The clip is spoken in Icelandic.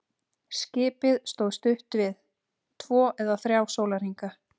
Skipið stóð stutt við, tvo eða þrjá sólarhringa.